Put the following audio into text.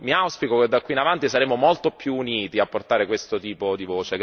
Mi auspico che da qui in avanti saremo molto più uniti a portare questo tipo di